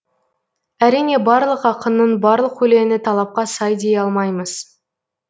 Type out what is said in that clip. әрине барлық ақынның барлық өлеңі талапқа сай дей алмаймыз